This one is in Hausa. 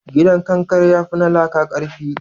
Gidan kankare ya fi na laƙa karfi?